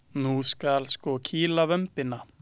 Nú skal sko kýla vömbina!